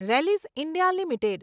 Rallis India limited